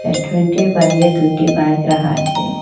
restaurant -টির বাইরে দুইটি বাইক রাখা আছে